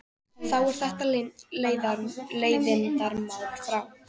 Þá er þetta leiðindamál frá.